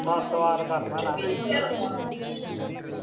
ਸੱਤ ਵਾਰ ਕਰਨਾ ਹੇਨਾ